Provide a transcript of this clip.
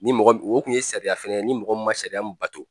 Ni mɔgɔ min o kun ye sariya fɛnɛ ye ni mɔgɔ ma sariya min bato